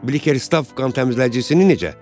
Bəs Bkeristav qan təmizləyicisini necə?